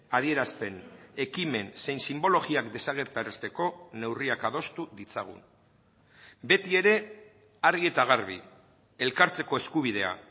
adierazpen ekimen zein sinbologiak desagerrarazteko neurriak adostu ditzagun beti ere argi eta garbi elkartzeko eskubidea